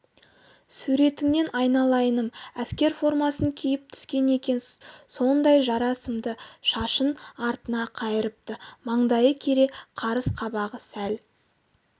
суретіңнен айналайыным әскер формасын киіп түскен екен сондай жара сымды шашын артына қайырыпты маңдайы кере қарыс қабағы сәл